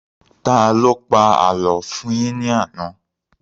Taló pa àlọ́ fún un yín ní àná?